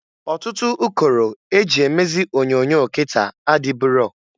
Ọtụtụ ụkọrọ e ji emezi onyoonyo kịta adịburo.